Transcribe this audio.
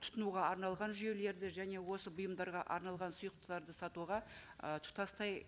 тұтынуға арналған жүйелерді және осы бұйымдарға арналған сұйықтарды сатуға ы тұтастай